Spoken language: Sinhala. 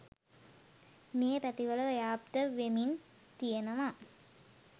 මේ පැතිවල ව්‍යාප්ත වෙමින් තියනවා.